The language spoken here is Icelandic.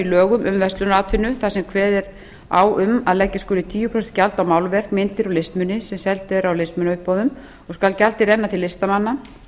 lögum um verslunaratvinnu þar sem kveðið er á um að leggja skuli á málverk myndir og listmuni sem seldir eru á listmunauppboðum skal gjaldið renna til listamanna